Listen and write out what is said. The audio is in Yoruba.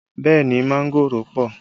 Bẹẹ ni, mángòrò pọ